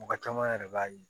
Mɔgɔ caman yɛrɛ b'a ye